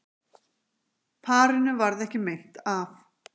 Parinu varð ekki meint af